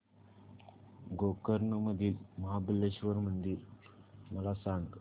गोकर्ण मधील महाबलेश्वर मंदिर मला सांग